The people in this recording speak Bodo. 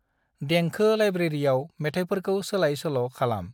दंखो लाइब्रेरिआव मेथायफोरखौ सोलाय सोल खालाम।